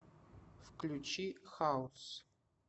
включи хаус